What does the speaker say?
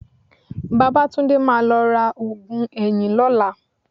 Babátúndé máa lọ ra oògùn eyín lọ́la